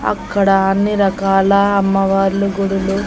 అక్కడ అన్ని రకాల అమ్మవార్లు గుడులు.